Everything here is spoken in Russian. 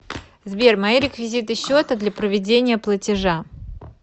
сбер мои реквизиты счета для проведения платежа